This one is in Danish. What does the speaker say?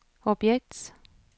objekt